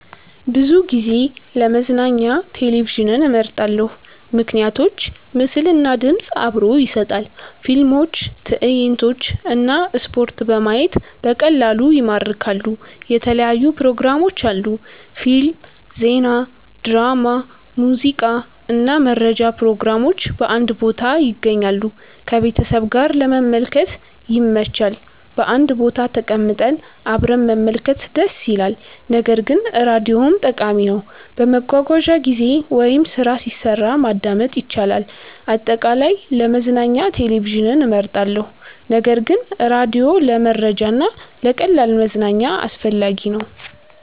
ብዙ ጊዜ ለመዝናኛ ቴሌቪዥንን እመርጣለሁ። ምክንያቶች ምስል እና ድምፅ አብሮ ይሰጣል – ፊልሞች፣ ትዕይንቶች እና ስፖርት በማየት በቀላሉ ይማርካሉ። የተለያዩ ፕሮግራሞች አሉ – ፊልም፣ ዜና፣ ድራማ፣ ሙዚቃ እና መረጃ ፕሮግራሞች በአንድ ቦታ ይገኛሉ። ከቤተሰብ ጋር ለመመልከት ይመች – በአንድ ቦታ ተቀምጠን አብረን መመልከት ደስ ይላል። ነገር ግን ራዲዮም ጠቃሚ ነው፤ በመጓጓዣ ጊዜ ወይም ስራ ሲሰራ ማዳመጥ ይቻላል። አጠቃላይ፣ ለመዝናኛ ቴሌቪዥን እመርጣለሁ ነገር ግን ራዲዮ ለመረጃ እና ለቀላል መዝናኛ አስፈላጊ ነው።